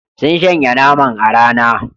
Sun shanya naman a rana.